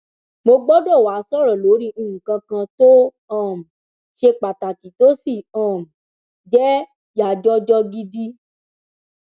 mo gbọdọ wàá sọrọ lórí nǹkan kan tó um ṣe pàtàkì tó sì um jẹ yàjọjọ gidi